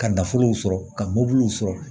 Ka nafolo sɔrɔ ka mobiliw sɔrɔ